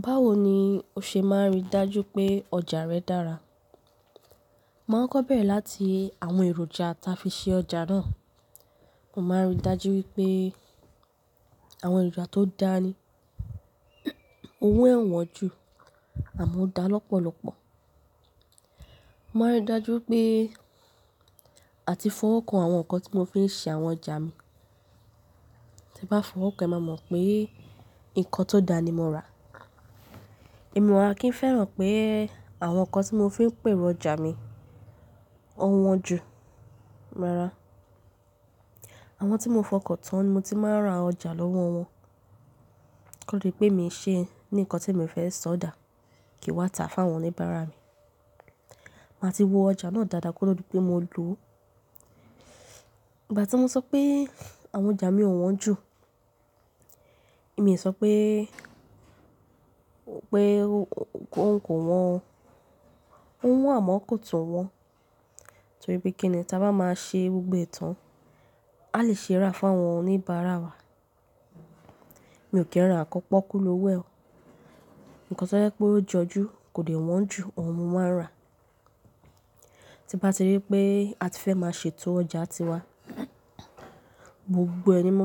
Báwo ni o ṣe máa ń rí dájú pé ọjà rẹ dára? Máa kọkọ bẹrẹ láti àwọn èròjà táa fi ṣe ọjà náà. Mo máa ń rí dájú wípé àwọn èròjà tó dá ni, owo ẹ o wọ́n jù àmọ́ ó dá lọ́pọ̀lọpọ̀. Mo máa ń rí dájú pé àti fọwọ́ kan àwọn ǹkan tí mo fi ń ṣe àwọn ọjà mi. Tébá fọwọ́ kan, e máa mọ̀ pé ǹkan tó dá ni mo rà. Èmi o wa kí ń fẹ́ràn pé àwọn ǹkan tí mo fi ń pèrò ọjà mi ọ́ wọ́n jù. Rárá. Àwọn tí mo fọkàn tán ni mo ti máa rà ọjà lọ́wọ́ wọn. Kodipe mii ṣe ní ǹkan tí mi fẹ́ sọ dà, kii n wá ta fún àwọn oníbára mi. Màá ti wo ọjà náà dáadáa koto dipé mo lò ó. Ìgbà tí mo sọ pé àwọn ọjà mi ò wọ́n jù, èmi ò sọ pé, pé kò wọ́n, o wọ́n àmọ́ kò tún wọ́n. Torí pé kíni? Tí a bá máa ṣe gbogbo ẹ tàn, a lè ṣe rà fún àwọn oníbàárà wa. Mi ò kí ń ra nkan pokulowo e. Nkan tó jẹ́ pé ó jọjú kò dẹ wọ́n jù, òun mo máa rà. Tí n bá ti rí pé a ti fẹ́ máa ṣètò ọjà tiwa, gbogbo ẹ̀ ní mo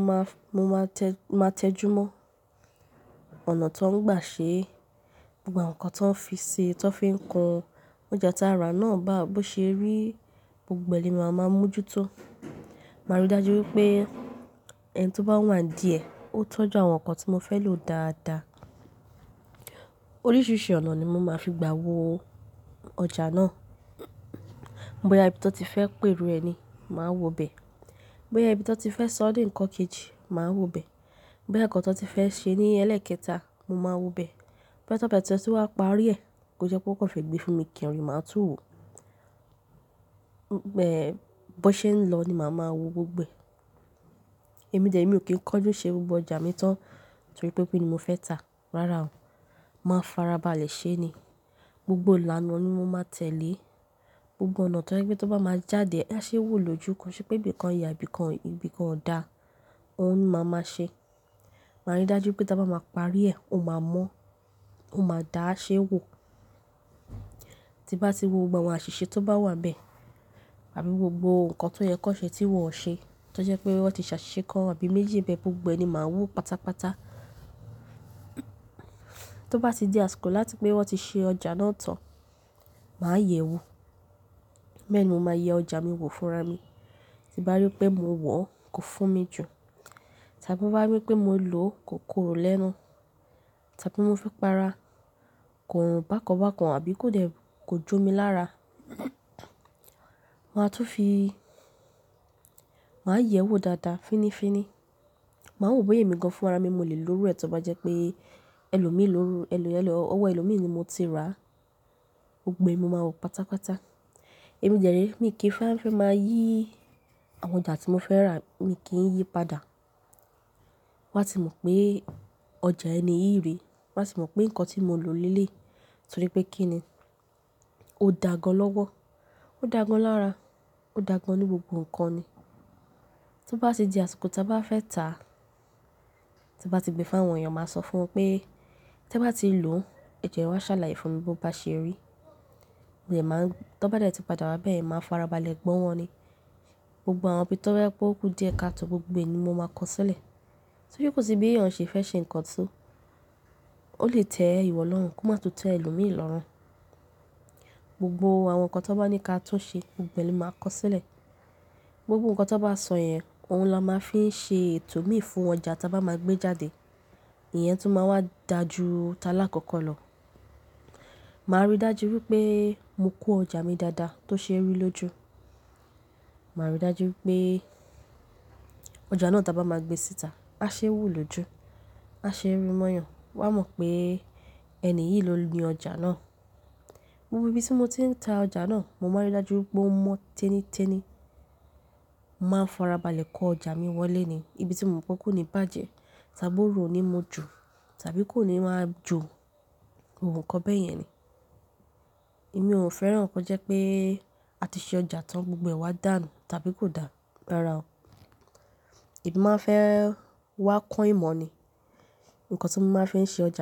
máa tẹjúmọ́. Ọ̀nà tan gbà ṣe, gbogbo àwọn ǹkan tan fi si, tan fi n kun, ọjà táa rà náà bó ṣe rí, gbogbo ẹ̀ ní màá ma mojútó. Màá rí dájú wípé ẹni tóbá wà n díẹ̀, ó tọ́jú àwọn ǹkan tí mo fẹ́ lò dáadáa. Oríṣìíríṣìí ọ̀nà ni mo máa fi gba wo ọjà náà. Bóyá ibi to tife pèrò ẹ ni, màá wo bẹ. Bóyá ibi tí wọ́n ti fẹ́ sọ́ dì ǹkan kejì, màá wo bẹ. Bóyá ǹkan tan ti fẹ́ ṣe ní ẹlẹ́ẹ̀kẹta, mo máa wo bẹ. Bóya tan ba tie tun wa parí ẹ̀, kí ó jẹ́ pé won kan fe gbé fún mi kí ń rí, màá tún wò. Bóṣe ń lọ ni màá máa wo gbogbo ẹ̀. Èmi dẹ̀re mi ò kí ń kanjú ṣe gbogbo ọjà mi tán torí pé mo fẹ́ tà. Rárá o, màá farabalẹ̀ ṣe ni. Gbogbo ìlànà ni mo máa tẹ̀lé. Gbogbo ọ̀nà tó jẹ́ pé tó bá máa jáde, a ṣe wo lóju. Ko se pé ibìkan yà, ibìkan ọ̀dà, òun ni màá máa ṣe. Màá rí dájú pé tí a bá máa parí ẹ̀, ó máa mọ́, ó máa dà, á ṣe wo. Tí bá ti wo gbogbo àwọn àṣìṣe tó bá wà n bẹ, àbí gbogbo ǹkan tó yẹ kanṣe tí wọn ò ṣe, tó jẹ́ pé wọ́n ti ṣàṣìṣe kán àbí méjì níbẹ̀, gbogbo ẹ̀ ní màá wo pátápátá. Tó bá ti di àsìkò láti pé wọ́n ti ṣe ọjà náà tán, màá yẹ̀ wo. Màá yẹ ọjà mi wò fúnra mi. Tín bá rí pé mo wọ̀ kò fún mi jù, tàbí nbá rí pé mo lò kò korò lẹ́nu, tàbí mo fẹ́ para, ko bákan bákan àbí kò jo mi lára, màá tún fi, màá yẹ̀ẹ́ wo dáadáa fínífíní. Màá wo bóyá èmi gan fúnra mi mo lè lò ó. Ru ẹ tó bá jẹ́ pé ẹlòmíì ló, ọwọ́ ẹlòmíì ni mo ti rà, gbogbo ẹ̀ mo máa wo pátápátá. Èmi dẹ̀re, mi kìí fẹ́ máa yí àwọn ọjà tí mo fẹ́ rà, mi kìí yí padà. Wọ́n á ti mọ̀ pé ọjà ẹni yìí rèé. Wọn á ti mọ̀ pé ǹkan tí mo lò léleyi torí pé kíni? Ó daa gán lọ́wọ́. Ó daagán lára, ó daagán ní gbogbo ǹkan ni. Tó bá ti di àsìkò tí a bá fẹ́ tà, tín bá ti gbé fún àwọn èèyàn, màá sọ fún wọn pé tí ẹ bá ti lò ó, ẹ̀jọ ẹ wá ṣàlàyé fún mi bó bá ṣe rí. Tanba dẹ̀ tí padà wá bẹ́ẹ̀, màá farabalẹ̀ gbọ́ wọn ni. Gbogbo àwọn ibí tó jẹ́ pé ó kú díẹ̀ káàtò, gbogbo ẹ̀ ní mo máa kọ sílẹ̀. Torí kò sí bí èèyàn ṣe fẹ́ ṣe ǹkan tó, o lè tẹ́ ìwọ lọ́rùn kó má tún tẹ́ ẹlòmíì lọ́rùn. Gbogbo àwọn ǹkan tanba ní ká tún ṣe, gbogbo ẹ̀ ní màá kọ sílẹ̀. Gbogbo ǹkan tanba sọ̀ yẹn, òun la máa n fi ṣe ètò mii fún ọjà tí a bá máa gbé jáde. Ìyẹn tún máa wá daa ju talakoko lọ. Màá rí dájú wípé mo kó ọjà mi dáadáa tó ṣe ẹ́ rí lójú. Màá rí dájú wípé ọjà náà tí a bá máa gbé síta, a ṣe é wo lóju, a ṣe é rí mọ́yàn. Wọn á mọ̀ pé ẹni yìí ló ni ọjà náà. Gbogbo ibi tí mo ti ń ta ọjà náà, mo máa n rí dájú wípé ó mọ́ tẹ́nítẹ́ní. Màá farabalẹ̀ kó ọjà mi wọlé ni. Ibi tí mò mọ̀ pé kò ní bàjẹ́, tàbí oru o ní mu jù, tàbí kò ní máa jo, gbogbo nkan bẹyẹn ni. Èmi ò fẹ́ràn kó jẹ́ pé a ti ṣe ọjà tán, gbogbo ẹ̀ wá dànù tàbí kò dà. Rárá o. Èmi máa fẹ́ wá kọ ìmọ̀ ni, ǹkan tí mo máa fi ń ṣe ọjà.